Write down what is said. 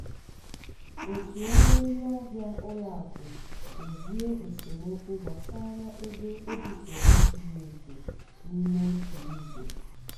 òtù ọrụ ndị ahịa ụlọ akụ dozie esemokwu gbasara ego ebufere furu efu n'ime otu izu.